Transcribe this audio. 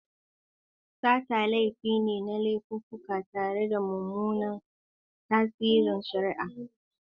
Sata laifi ne na laififuka tare da mummunan tasirin shari'a.